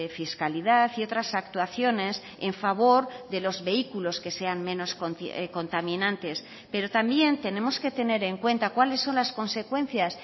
fiscalidad y otras actuaciones en favor de los vehículos que sean menos contaminantes pero también tenemos que tener en cuenta cuáles son las consecuencias